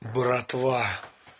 братва